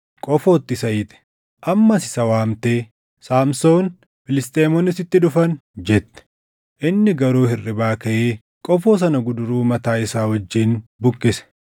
qofootti isa hiite. Ammas isa waamtee, “Saamsoon, Filisxeemonni sitti dhufan!” jette. Inni garuu hirribaa kaʼee qofoo sana guduruu mataa isaa wajjin buqqise.